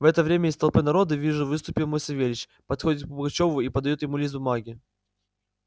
в это время из толпы народа вижу выступил мой савельич подходит к пугачёву и подаёт ему лист бумаги